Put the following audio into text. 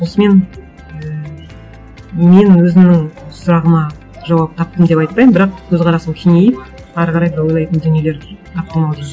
осымен ііі менің өзімнің сұрағыма жауап таптым деп айтпаймын бірақ көзқарасым кеңейіп әрі қарай да ойлайтын дүниелер таптым ау деймін